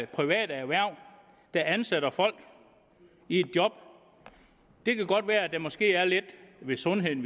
private erhverv der ansætter folk i et job det kan godt være at der måske er lidt med sundheden